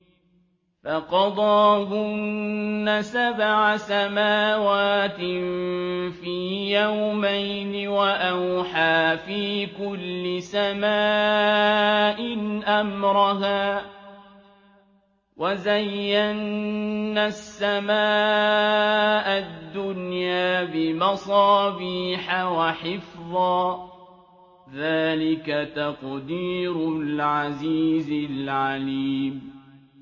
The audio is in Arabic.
فَقَضَاهُنَّ سَبْعَ سَمَاوَاتٍ فِي يَوْمَيْنِ وَأَوْحَىٰ فِي كُلِّ سَمَاءٍ أَمْرَهَا ۚ وَزَيَّنَّا السَّمَاءَ الدُّنْيَا بِمَصَابِيحَ وَحِفْظًا ۚ ذَٰلِكَ تَقْدِيرُ الْعَزِيزِ الْعَلِيمِ